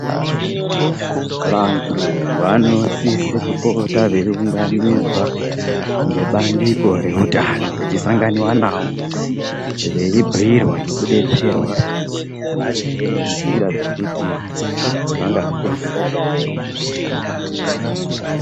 Vantu vanosise kupota veiunganidzwa ngebandiko reutano vechisanganiwa navo veibhiirwa nekudetserwa maringe nenzira dzekuti vangazvichengetedza sei pautano.